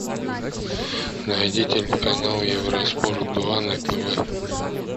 найди телеканал евроспорт два на тв